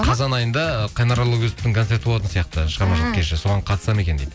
қазан айында қайнар алагөзовтің концерті болатын сияқты шығармашылық кеші соған қатысады ма екен дейді